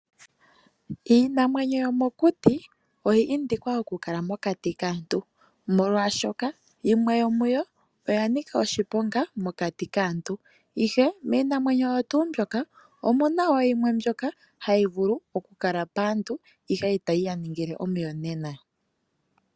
Iinamwenyo yomo kuti oya indikwa oku kala mokati kaantu, omolwashoka yimwe yomuyo oya nika oshiponga mokati kaantu. Ihe miinamwenyo oyo tuu mbyoka omuna wo yimwe mbyoka hayi vulu oku kala paantu ihe ita yi ya ningile omuyonena.